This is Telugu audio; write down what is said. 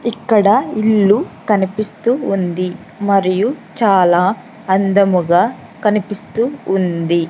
ఇక్కడ ఇల్లు కనిపిస్తూ ఉంది మరియు చాలా అందముగా కనిపిస్తూ ఉంది.